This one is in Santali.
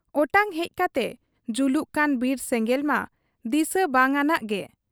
ᱚᱴᱟᱝ ᱦᱮᱡ ᱠᱟᱛᱮ ᱡᱩᱞᱩᱜ ᱠᱟᱱ ᱵᱤᱨ ᱥᱮᱸᱜᱮᱞ ᱢᱟ ᱫᱤᱥᱟᱹ ᱵᱟᱝᱟᱱᱟᱜ ᱜᱮ ᱾